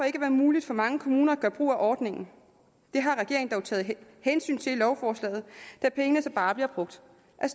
ikke være muligt for mange kommuner at gøre brug af ordningen det har regeringen dog taget hensyn til i lovforslaget da pengene så bare bliver brugt